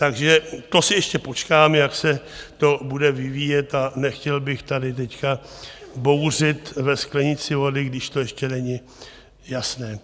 Takže to si ještě počkám, jak se to bude vyvíjet a nechtěl bych tady teď bouřit ve sklenici vody, když to ještě není jasné.